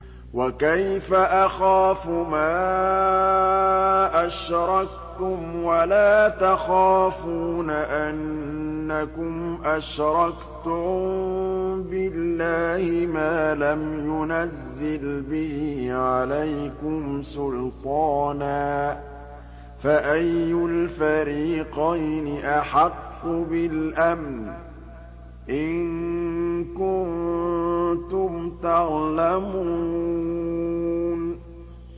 وَكَيْفَ أَخَافُ مَا أَشْرَكْتُمْ وَلَا تَخَافُونَ أَنَّكُمْ أَشْرَكْتُم بِاللَّهِ مَا لَمْ يُنَزِّلْ بِهِ عَلَيْكُمْ سُلْطَانًا ۚ فَأَيُّ الْفَرِيقَيْنِ أَحَقُّ بِالْأَمْنِ ۖ إِن كُنتُمْ تَعْلَمُونَ